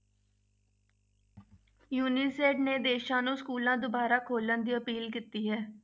ਨੇ ਦੇਸਾਂ ਨੂੰ schools ਦੁਬਾਰਾ ਖੋਲਣ ਦੀ appeal ਕੀਤੀ ਹੈ।